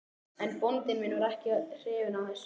En bóndi minn var ekki hrifinn af þessu.